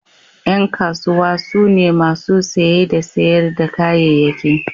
Yan kasuwa su ne masu saye da sayar da kayayyaki.